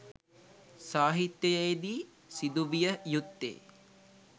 සාහිත්‍යයේ දී සිදු විය යුත්තේ